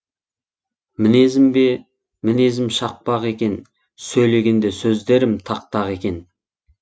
мінезім бе мінезім шақпақ екен сөйлегенде сөздерім тақ тақ екен